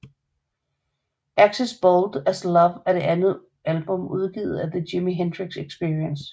Axis Bold as Love er det andet album udgivet af The Jimi Hendrix Experience